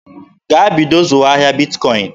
Gaa bido zụwa ahịa Bitkọin!